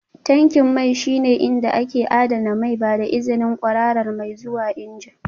Tankin mai shine inda ake adana mai, ba da izinin kwararar mai zuwa injin